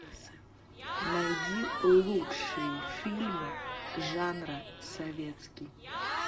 найди лучшие фильмы жанра советский